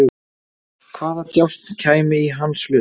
Hvaða djásn kæmi í hans hlut?